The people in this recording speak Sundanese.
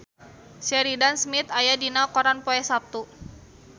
Sheridan Smith aya dina koran poe Saptu